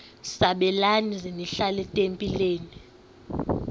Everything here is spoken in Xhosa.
sabelani zenihlal etempileni